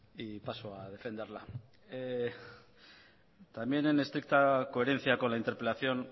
y paso a defenderla también en estricta coherencia con la interpelación